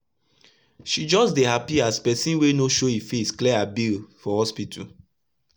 she just dey hapi as person wey no show e face clear her bill for hospital